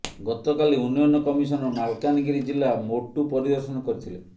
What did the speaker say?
ଗତକାଲି ଉନ୍ନୟନ କମିଶନର ମାଲକାନଗିରି ଜିଲ୍ଲା ମୋଟୁ ପରିଦର୍ଶନ କରିଥିଲେ